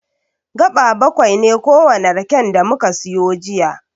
Gaɓa baƙwai ne kowane raken da muka siyo jiya.